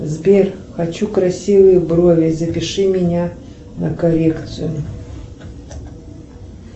сбер хочу красивые брови запиши меня на коррекцию